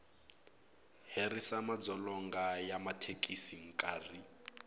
herisa madzolonga ya mathekisi nkarhi